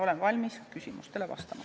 Olen valmis küsimustele vastama.